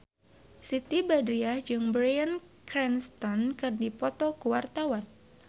Siti Badriah jeung Bryan Cranston keur dipoto ku wartawan